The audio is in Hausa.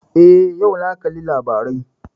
Eh, yau na kalli labarai